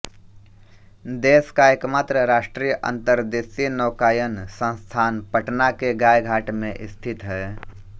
देश का एकमात्र राष्ट्रीय अंतर्देशीय नौकायन संस्थान पटना के गायघाट में स्थित है